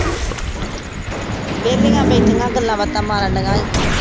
ਵੇਹਲੀਆਂ ਬੈਠੀਆਂ ਗੱਲਾਂ ਬਾਤਾਂ ਮਾਰਨ ਦੀਆ ਆ